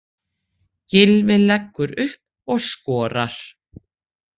Gylfi leggur upp og skorar.